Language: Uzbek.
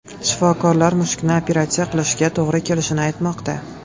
Shifokorlar mushukni operatsiya qilishga to‘g‘ri kelishini aytmoqda.